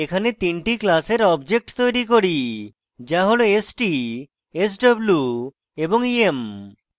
এখানে তিনটি classes objects তৈরী করি যা হল st sw এবং em